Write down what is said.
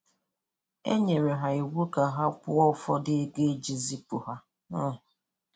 E nyere ha iwu ka ha kwụọ ụfọdụ ego e ji zipụ ha. um